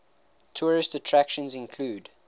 tourist attractions include